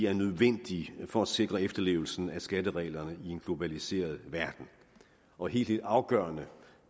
er nødvendige for at sikre efterlevelsen af skattereglerne i en globaliseret verden og helt helt afgørende